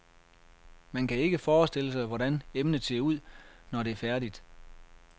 Man kan ikke forestille sig, hvordan emnet ser ud, når det er færdigt.